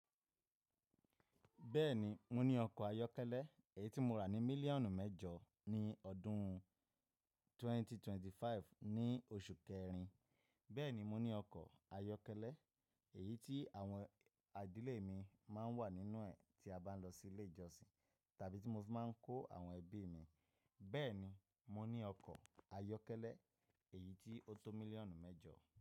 Bẹ́ẹ̀ni, mo ní ọkọ̀ ayọ́kẹ́lẹ́ èyí tí mo rà ní mílíọ̀nù mẹ́jọ ní ọdún 2025 ní oṣù kẹrin, bẹ́ẹ̀ni mo ní ọkọ̀ ayọ́kẹ́lẹ́ èyí tí àwọn ìdílé mi máa ń wà nínú ẹ̀ tí a bá ń lọ sí ilé ìjọsìn tàbí tí mo fi máa ń kó àwọn ẹbí mi, bẹ́ẹ̀ni mo ní ọkọ̀ ayọ́kẹ́lẹ́ èyí tí ó tó mílíọ̀nù mẹ́jọ.